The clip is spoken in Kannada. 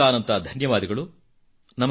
ಅನಂತಾನಂತ ಧನ್ಯವಾದಗಳು